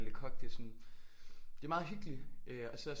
Le Coq det sådan det er meget hyggeligt øh og så